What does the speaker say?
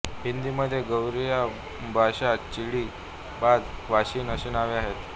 हिंदीमध्ये गौरेया बाशा चिडी बाज वाशिन अशी नावे आहेत